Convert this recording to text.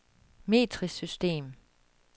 metrisk system